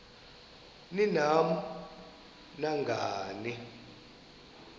ni nam nangani